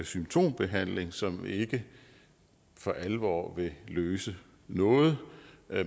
symptombehandling som ikke for alvor vil løse noget